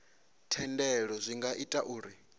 thendelo zwi nga ita uri